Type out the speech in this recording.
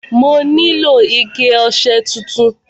Mo nílò ike ọṣẹ tuntun.